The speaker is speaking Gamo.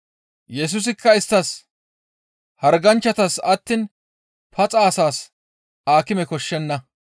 Yesusikka isttas, «Harganchchatas attiin paxa asas aakime koshshenna.